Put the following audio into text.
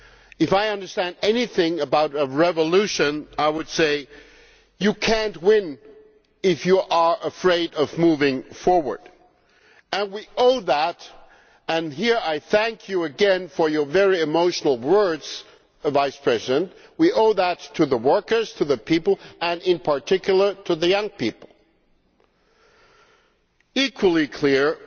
If I understand anything about a revolution, I would say that you cannot win if you are afraid of moving forward, and we owe that much let me thank you again here for your emotional words, Vice President to the workers, to the people and, in particular, to young people. Equally clearly,